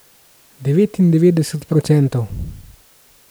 Devetindevetdeset procentov.